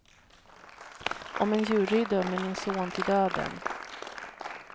Om en jury dömer min son till döden.